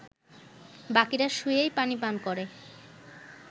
বাকীরা শুয়েই পানি পান করে